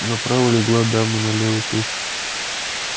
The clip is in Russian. направо легла дама налево туз